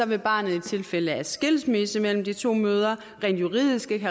vil barnet i tilfælde af skilsmisse mellem de to mødre rent juridisk ikke